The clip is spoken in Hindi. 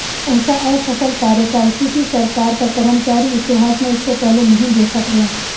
ऐसा असफल कार्यकाल किसी सरकार का कर्मचारी इतिहास में इससे पहले नहीं देखा गया